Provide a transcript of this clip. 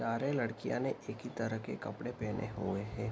सारे लड़कियां ने एक ही तरह के कपड़े पहने हुए हैं।